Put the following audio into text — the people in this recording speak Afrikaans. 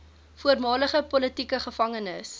voormalige politieke gevangenes